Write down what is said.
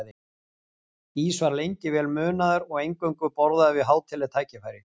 Ís var lengi vel munaður og eingöngu borðaður við hátíðleg tækifæri.